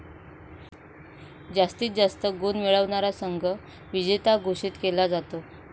जास्तीत जास्त गुण मिळवणारा संघ विजेता घोषित केला जातो.